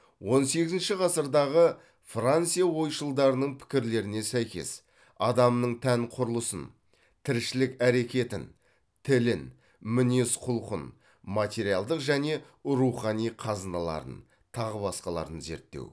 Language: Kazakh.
он сегізінші ғасырдағы франция ойшылдарының пікірлеріне сәйкес адамның тән құрылысын тіршілік әрекетін тілін мінез құлқын материалдық және рухани қазыналарын тағы басқаларды зерттеу